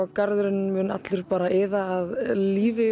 garðurinn mun allur iða af lífi